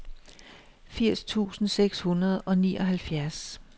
firs tusind seks hundrede og nioghalvfjerds